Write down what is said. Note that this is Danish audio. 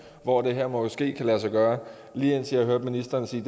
hvor det her måske kan lade sig gøre lige indtil jeg hørte ministeren sige